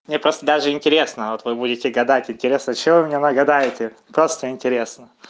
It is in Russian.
мне просто даже интересно вот вы будете гадать интересно что мне нагадаете просто интересно